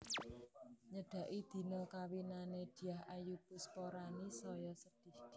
Nyedaki dina kawinane Dyah Ayu Pusparani saya sedih